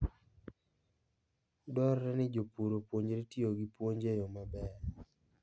Dwarore ni jopur opuonjre tiyo gi puonj e yo maber.